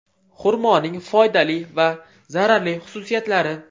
Xurmoning foydali va zararli xususiyatlari.